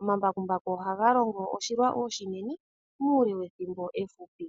Omambakumbaku ohaga longo oshilwa oshinene muule wethimbo efupi.